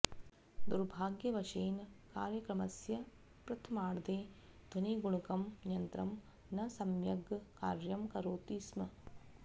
दुर्भाग्यवशेन कार्यक्रमस्य प्रथमार्धे ध्वनिगुणकं यन्त्रं न सम्यग् कार्यं करोति स्म